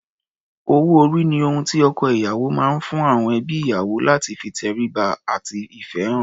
Owó-orí ni ohun tí ọkọ-ìyàwó máa ń fún àọn ẹbí ìyàwó láti fi ìtẹríba àti ìfẹ́ hàn.